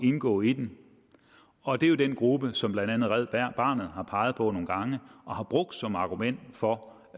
indgå i den og det er jo den gruppe som blandt andet red barnet har peget på nogle gange og brugt som argument for